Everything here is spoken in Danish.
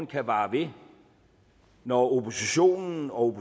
kan vare ved når oppositionen og